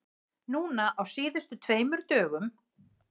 Núna á síðustu tveimur dögum.